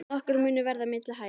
Nokkur munur verði milli hæða.